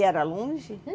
E era longe?